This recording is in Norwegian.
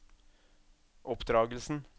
oppdragelsen